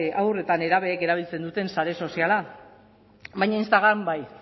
haur eta nerabeek erabiltzen duten sare soziala baina instagram bai